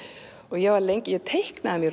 ég var lengi ég teiknaði mig